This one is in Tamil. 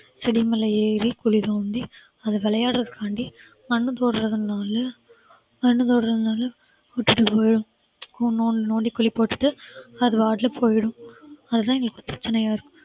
செடி மேல ஏறி குழி தோண்டி அது விளையாடுறதுக்காண்டி மண்ணு விட்டுட்டு போயிடும் நோண்டி நோண்டி குழி போட்டுட்டுஅது பாட்டுல போயிடும் அதுதான் எங்களுக்கு இப்ப பிரச்சனையா இருக்கு